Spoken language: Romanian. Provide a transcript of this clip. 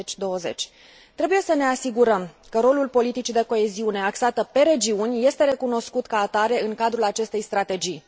2020. Trebuie să ne asigurăm că rolul politicii de coeziune axată pe regiuni este recunoscut ca atare în cadrul acestei strategii.